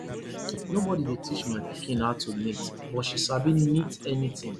nobody dey teach my pikin how to knit but she sabi knit anything